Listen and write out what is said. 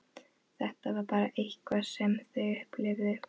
Þetta var bara eitthvað sem þau upplifðu.